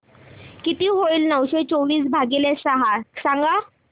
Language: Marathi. किती होईल नऊशे चोवीस भागीले सहा सांगा